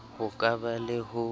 ho ka ba le ho